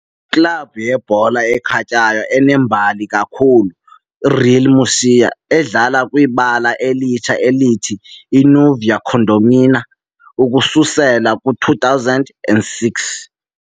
Iklabhu yebhola ekhatywayo enembali kakhulu Real Murcia, edlala kwibala elitsha elithi " "Nueva Condomina" " ukususela kwi-2006.